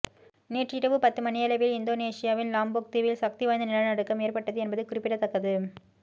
நேற்று இரவு பத்து மணியளவில் இந்தோனேசியாவின் லாம்போக் தீவில் சக்தி வாய்ந்த நிலநடுக்கம் ஏற்பட்டது என்பது குறிப்பிடத்தக்கது